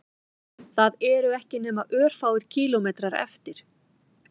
Það eru ekki nema örfáir kílómetrar eftir